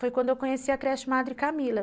Foi quando eu conheci a creche Madre Camila.